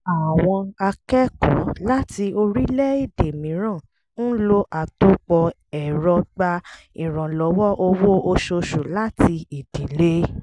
àwọn akẹ́kọ̀ọ́ láti orílẹ̀-èdè mìíràn ń lo àtòpọ̀ ẹ̀rọ gba ìrànlọ́wọ́ owó oṣooṣù láti ìdílé